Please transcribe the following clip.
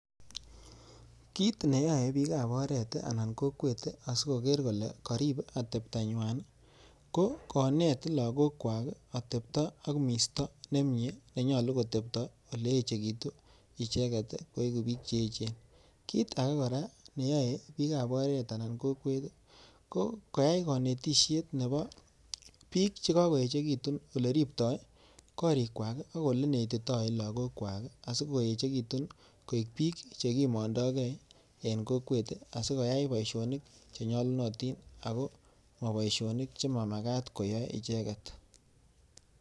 Kit neyae pikab oret ana kokwet asigoger kole karip ateptonywan, ko konet lagokwak atepto ak misto ne mnye nenyalu kotepto oleechegitu icheget koegu pik che echen. Kit age kora neyae pikab oret anan kokwet ko koyai konetisiet nebo pik che kagoechegitun, oleriptoi korikwak ak olenetitoi lagokwak asigoechegitun koek pik chegimondoigei eng kokwet asigoyai boisionik che nyalunotin ago maboisionik che mamagat koyai icheget.